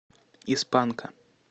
из панка